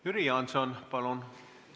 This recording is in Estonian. Jüri Jaanson, palun!